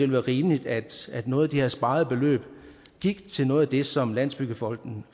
være rimeligt at at noget af det her sparede beløb gik til noget af det som landsbyggefonden